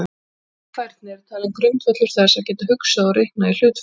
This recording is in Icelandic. Slík færni er talin grundvöllur þess að geta hugsað og reiknað í hlutföllum.